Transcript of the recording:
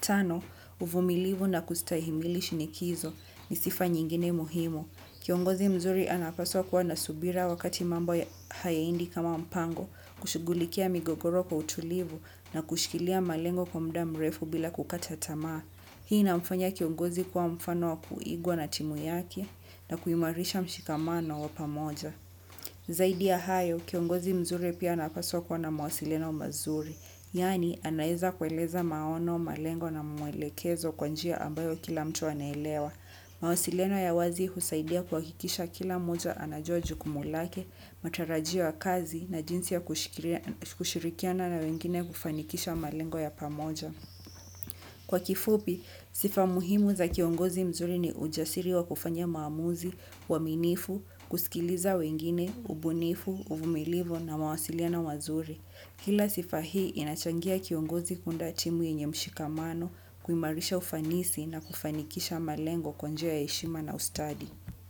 Tano, uvumilivu na kustahimili shinikizo ni sifa nyingine muhimu. Kiongozi mzuri anapaswa kuwa na subira wakati mambo hayaendi kama mpango, kushugulikia migogoro kwa utulivu na kushikilia malengo kwa mda mrefu bila kukata tamaa. Hii inamfanya kiongozi kuwa mfano wa kuigwa na timu yake na kuhimarisha mshikamano wa pamoja. Zaidi ya hayo, kiongozi mzuri pia anapaswa kuwa na mawasiliano mazuri. Yaani, anaweza kueleza maono, malengo na mwelekezo kwanjia ambayo kila mtu anelewa. Mawasiliano ya wazi husaidia kuhakikisha kila mmoja anajua jukumu lake matarajio ya kazi na jinsi ya kushirikiana na wengine kufanikisha malengo ya pamoja. Kwa kifupi, sifa muhimu za kiongozi mzuri ni ujasiri wa kufanya maamuzi, uaminifu, kusikiliza wengine, ubunifu, uvumilivu na mawasiliano mazuri. Kila sifa hii, inachangia kiongozi kuunda timu yenye mshikamano, kuimarisha ufanisi na kufanikisha malengo kwa njia ya heshima na ustadi.